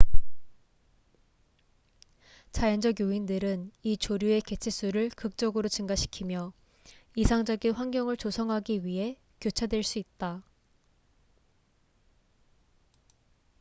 자연적 요인들은 이 조류의 개체 수를 극적으로 증가시키며 이상적인 환경을 조성하기 위해 교차될 수 있다